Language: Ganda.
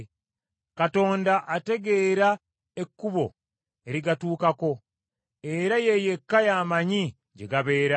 Katonda ategeera ekkubo erigatuukako era ye yekka y’amanyi gye gabeera,